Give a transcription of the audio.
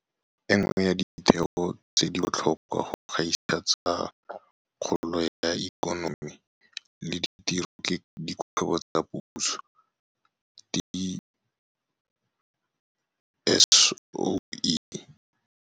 E nngwe ya ditheo tse di botlhokwa go gaisa tsa kgolo ya ikonomi le ditiro ke dikgwebo tsa puso, diSOE.